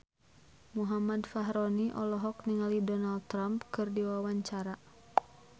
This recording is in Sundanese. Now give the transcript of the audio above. Muhammad Fachroni olohok ningali Donald Trump keur diwawancara